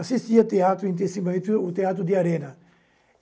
assistia teatro intensivamente, o teatro de arena.